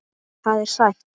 Það er sætt.